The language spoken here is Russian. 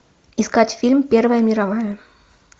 искать фильм первая мировая